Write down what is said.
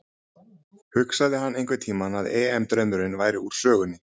Hugsaði hann einhverntímann að EM draumurinn væri úr sögunni?